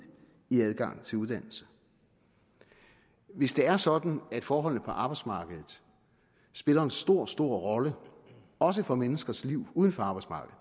i adgangen til uddannelse hvis det er sådan at forholdene på arbejdsmarkedet spiller en stor stor rolle også for menneskers liv uden for arbejdsmarkedet